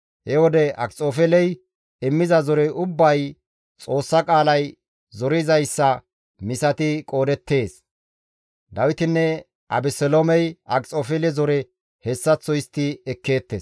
He wode Akxofeeley immiza zorey ubbay Xoossa qaalay zorizayssa misati qoodettees; Dawitinne Abeseloomey Akxofeele zore hessaththo histti ekkeettes.